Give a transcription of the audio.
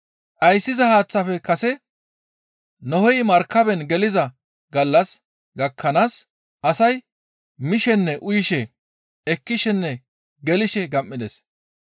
Dhayssiza haaththafe kase Nohey markaben geliza gallas gakkanaas asay mishenne uyishe, ekkishenne gelshe gam7ides.